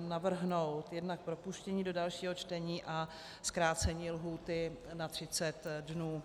navrhnout jednak propuštění do dalšího čtení a zkrácení lhůty na 30 dnů.